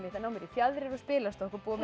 að ná mér í fjaðrir og spilastokk og búa til